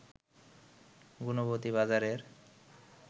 গুণবতী বাজারের